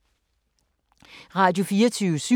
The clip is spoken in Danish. Radio24syv